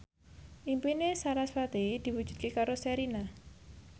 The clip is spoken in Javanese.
impine sarasvati diwujudke karo Sherina